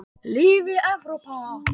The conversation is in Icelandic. Lifi Evrópa.